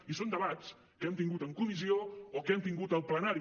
i són debats que hem tingut en comissió o que hem tingut al plenari